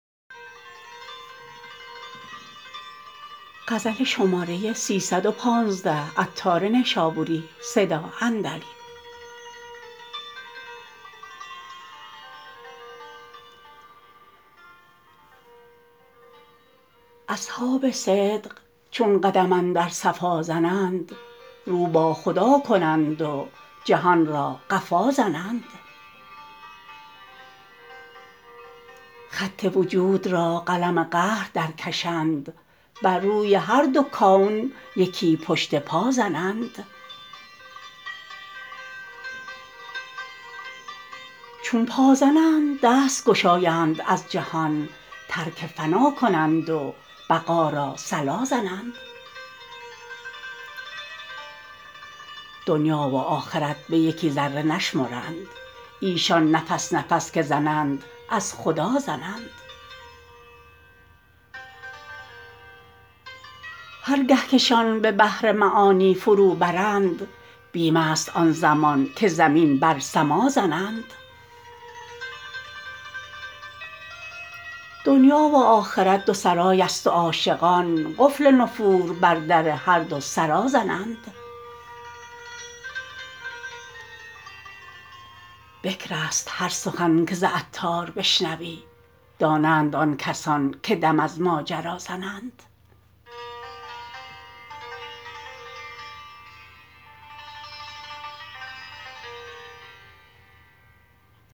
اصحاب صدق چون قدم اندر صفا زنند رو با خدا کنند و جهان را قفا زنند خط وجود را قلم قهر درکشند بر روی هر دو کون یکی پشت پا زنند چون پا زنند دست گشایند از جهان ترک فنا کنند و بقا را صلا زنند دنیا و آخرت به یکی ذره نشمرند ایشان نفس نفس که زنند از خدا زنند هرگه که شان به بحر معانی فرو برند بیم است آن زمان که زمین بر سما زنند دنیا و آخرت دو سرای است و عاشقان قفل نفور بر در هر دو سرا زنند بکر است هر سخن که ز عطار بشنوی دانند آن کسان که دم از ماجرا زنند